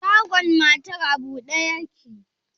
Shagon matar a bude yake?